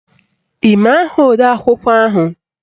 Ị ma aha odeakwụkwọ ahụ?